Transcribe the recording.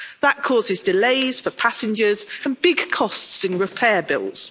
That causes delays for passengers and big costs in repair bills.